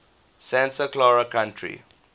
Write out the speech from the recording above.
santa clara county